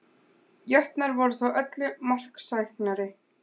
Breytileg helti er einkennandi fyrir bráða eitrun.